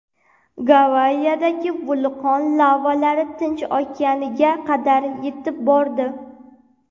Gavayidagi vulqon lavalari Tinch okeaniga qadar yetib bordi .